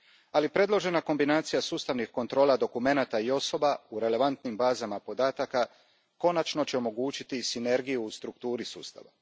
Ali predložena kombinacija sustavnih kontrola dokumenata i osoba u relevantnim bazama podataka konačno će omogućiti sinergiju u strukturi sustava.